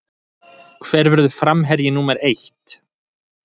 Hver verður framherji númer eitt?